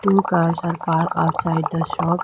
Two cars are parked outside the shop.